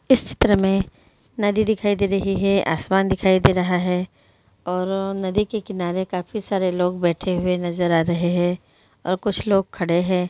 इस चित्र मे नदी दिखाई दे रही हे आसमान दिखाई दे रहा हे और नदी के किनारे काफी सारे लोग बेठे हुए नजर आ रही हे और कुछ लोग खड़े हे